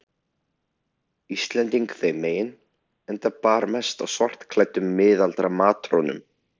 Íslending þeim megin, enda bar mest á svartklæddum, miðaldra matrónum.